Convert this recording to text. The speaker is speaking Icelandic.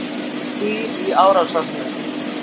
Dýr í árásarhug